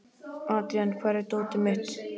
Adrian, hvar er dótið mitt?